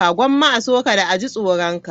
Gomma a so ka, da a ji tsoron ka.